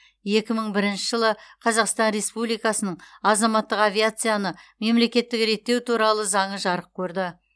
екі мың бірінші жылы қазақстан республикасының азаматтық авиацияны мемлекеттік реттеу туралы заңы жарық көрді